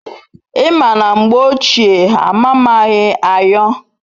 I ma na mgbe ochie ha amamaghi ayo